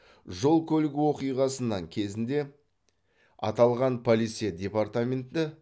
жол көлік оқиғасынан кезінде аталған полиция департаменті